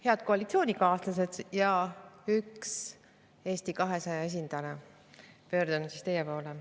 Head koalitsioonikaaslased ja üks Eesti 200 esindaja, pöördun teie poole.